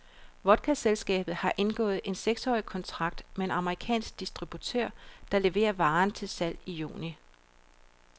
Vodkaselskabet har indgået en seksårig kontrakt med en amerikansk distributør, der leverer varen til salg i juni.